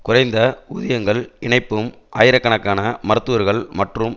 குறைந்த ஊதியங்கள் இணைப்பும் ஆயிரக்கணக்கான மருத்துவர்கள் மற்றும்